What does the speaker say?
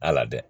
Ala dɛ